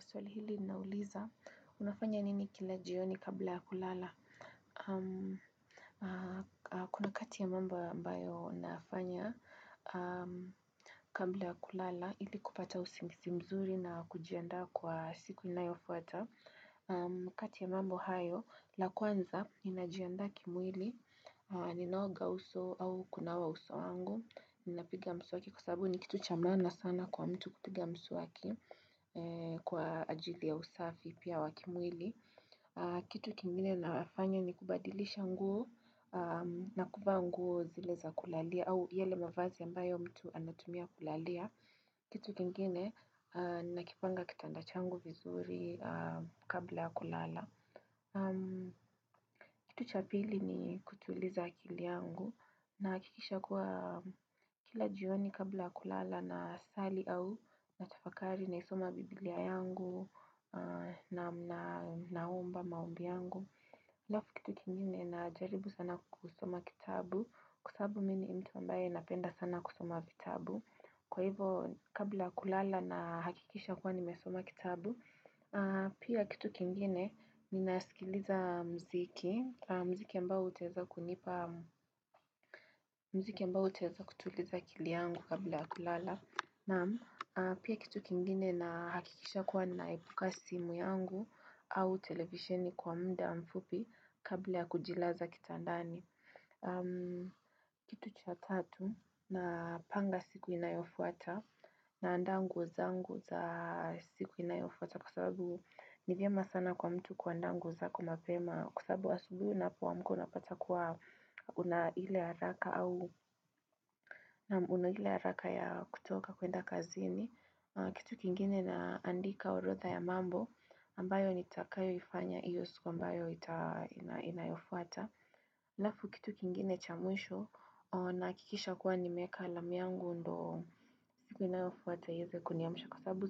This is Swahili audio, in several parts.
Swali hili nauliza, unafanya nini kila jioni kabla ya kulala? Kuna kati ya mambo ambayo nafanya kabla ya kulala ili kupata usingisi mzuri na kujianda kwa siku inayofuata. Kati ya mambo hayo, la kwanza inajianda kimwili, ninaoga uso au kunawa uso angu, inapiga msu waki. Kwa sababu ni kitu cha maana sana kwa mtu kutiga msuwaki kwa ajili ya usafi pia wakimwili. Kitu kingine nafanya ni kubadilisha nguo na kuvaa nguo zile za kulala au yale mavazi ambayo mtu anatumia kulalia. Kitu kingine nakipanga kitanda changu vizuri kabla kulala. Kitu cha pili ni kutuliza akili yangu na hakikisha kuwa kila jioni kabla kulala nasali au Natafakari naisoma biblia yangu na naomba maombi yangu alafu kitu kingine na jaribu sana kusoma kitabu Kwa sababu mi ni mtu ambaye napenda sana kusoma vitabu Kwa hivo kabla kulala na hakikisha kuwa nimesoma kitabu Pia kitu kingine ni nasikiliza mziki ambao utaeza kutuliza akili yangu kabla kulala Pia kitu kingine na hakikisha kuwa naibuka simu yangu au televisioni kwa mda mfupi kabla kujilaza kitandani kitu cha tatu na panga siku inayofuata na andangu zangu za siku inayofuata Kwa sababu nivyama sana kwa mtu kwa andangu za kumapema Kwa sababu wa subuhu na pwa mko unapata kwa unahile haraka au unahile haraka ya kutoka kuenda kazini kitu kingine na andika orodha ya mambo ambayo nitakayoifanya iyo siku ambayo ita inayofuata Lafu kitu kingine chamwisho na kikisha kuwa nimeka alam yangu ndo siku inayofu wata yeze kuniamisha kwa sabu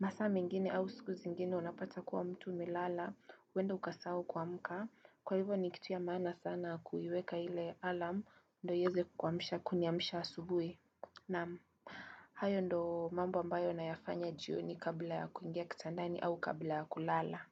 masame ngini au siku zingini unapata kuwa mtu milala wenda ukasau kwa mka. Kwa hivyo ni kitu ya maana sana kuiweka ile alarm ndio iweze kuniamisha asubuhi na hayo ndo mambo ambayo nayafanya jioni kabla ya kuingia kitandani au kabla ya kulala.